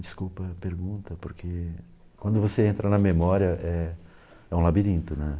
Desculpa a pergunta, porque quando você entra na memória é é um labirinto, né?